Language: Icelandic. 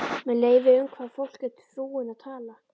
Með leyfi, um hvaða fólk er frúin að tala?